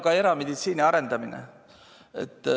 Ka erameditsiini arendamine.